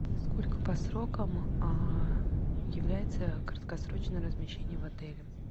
сколько по срокам является краткосрочное размещение в отеле